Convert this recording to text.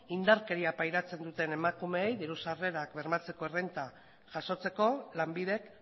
indarkeria pairatzen duten emakumeei diru sarrerak bermatzeko errenta jasotzeko lanbidek